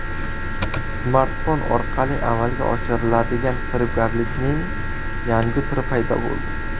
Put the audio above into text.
Smartfon orqali amalga oshiriladigan firibgarlikning yangi turi paydo bo‘ldi.